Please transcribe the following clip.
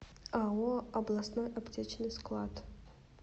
ао областной аптечный склад